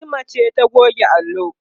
Fatima ce ta goge allo